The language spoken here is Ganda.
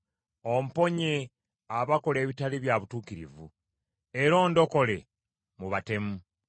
Omponye abakola ebitali bya butuukirivu, era ondokole mu batemu.